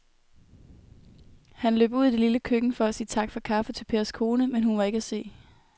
Han løb ud i det lille køkken for at sige tak for kaffe til Pers kone, men hun var ikke til at se.